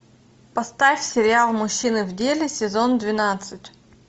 поставь сериал мужчины в деле сезон двенадцать